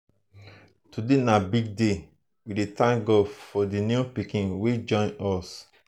today na big day we dey thank god for the new pikin wey join us.